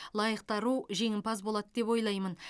лайықты ару жеңімпаз болады деп ойлаймын